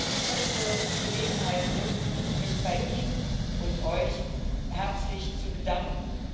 Ich möchte die Gelegenheit nutzen, mich bei Ihnen und Euch herzlich zu bedanken!